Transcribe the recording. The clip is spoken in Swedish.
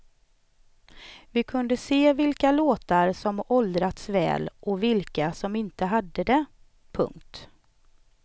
Vi kunde se vilka låtar som åldrats väl och vilka som inte hade det. punkt